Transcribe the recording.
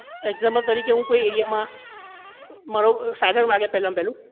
example તરીકે હું કોઈ area માં મારો પહેલા માં પહેલું